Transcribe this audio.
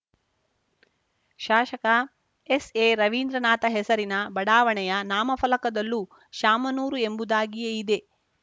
ಶಾಶಕ ಎಸ್‌ಎರವೀಂದ್ರನಾಥ ಹೆಸರಿನ ಬಡಾವಣೆಯ ನಾಮಫಲಕದಲ್ಲೂ ಶಾಮನೂರು ಎಂಬುದಾಗಿಯೇ ಇದೆ